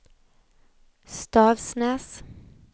Stavsnäs